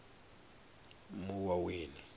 muwaweni